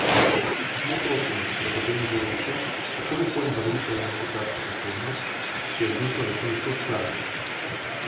Samo prosim, da potem ne govorite, kako lepo in barvito je imeti kakšno posebnost, ki jo družba večinsko odklanja.